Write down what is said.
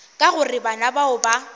ka gore bana bao ba